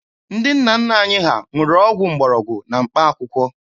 Ndị nna nna anyị ha ṅụrụ ọgwụ mgbọrọgwụ na mkpaakwụkwọ.